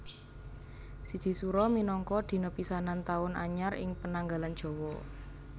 Siji Sura minangka dina pisanan taun anyar ing pananggalan Jawa